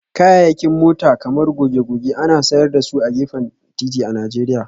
Kayayyakin mota kamar goge-goge ana sayar da su a gefen titi a Najeriya